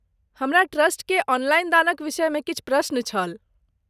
हमरा ट्रस्टकेँ ऑनलाइन दानक विषयमे किछु प्रश्न छल।